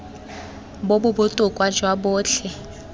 bo bo botoka jwa botlhe